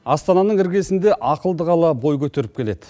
астананың іргесінде ақылды қала бой көтеріп келеді